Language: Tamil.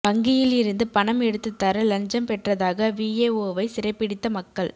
வங்கியில் இருந்து பணம் எடுத்துத்தர லஞ்சம் பெற்றதாக விஏஓவை சிறைப்பிடித்த மக்கள்